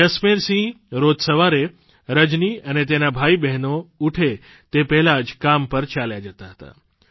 જસમેરસિંહ રોજ સવારે રજની અને તેનાં ભાઇબહેનો ઉઠે તે પહેલાં જ કામ પર ચાલ્યા જતા હતા